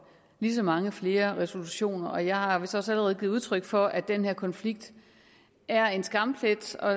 lige så mange nye resolutioner og jeg har vist også allerede givet udtryk for at den her konflikt er en skamplet og